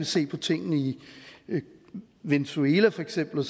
se på tingene i venezuela for eksempel og